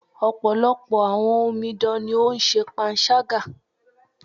Ọ̀pọ̀lọpọ̀ àwọn omidan ní o ń ṣe panṣágà.